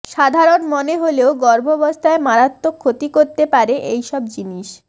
সাধারণ মনে হলেও গর্ভাবস্থায় মারাত্মক ক্ষতি করতে পারে এইসব জিনিস